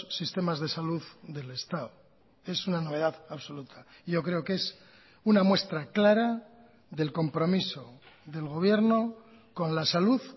sistemas de salud del estado es una novedad absoluta y yo creo que es una muestra clara del compromiso del gobierno con la salud